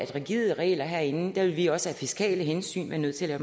rigide regler herinde vil vi også af fiskale hensyn være nødt til at